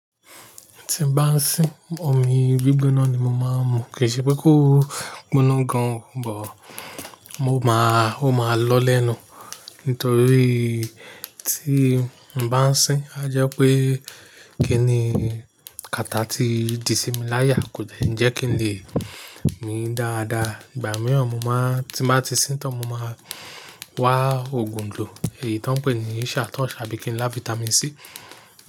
Tí n bá ń sín, omi gbígbóná ni mo máa ń mu. Kì í ṣe pé kó gbóná gan, but, o máa, ó máa lọ lẹ́nu. Nítorí tí n bá ń sín, a jẹ́ pé kí ni, kata tí di sí mi láyà kò jẹ́ n je kí n lè mi dáadáa. Ìgbà mìíràn mo máa, tí bá ti sín tán, mo máa wá ògoǹdò, èyí tí wọ́n ń pè ní Isa Torch tàbí kí n lá Vitamin C.